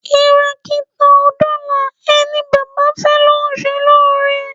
Kìràkìtà ò dọlà ẹni baba fẹ́ ló ń ṣe lóore.